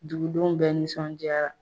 Dugudenw bɛɛ nisɔndiyara.